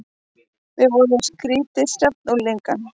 Við vorum skrýtið safn unglinga.